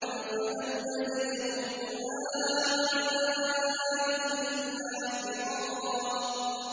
فَلَمْ يَزِدْهُمْ دُعَائِي إِلَّا فِرَارًا